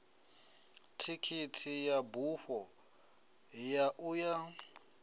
thikhithi ya bufho ya uya